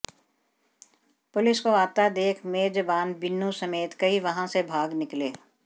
police को आता देख मेजबान बिनू समेत कई वहां से भाग निकले